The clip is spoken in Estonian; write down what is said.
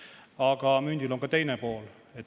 Aga mündil on ka teine pool.